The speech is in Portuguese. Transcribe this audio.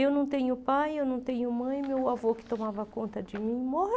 Eu não tenho pai, eu não tenho mãe, meu avô que tomava conta de mim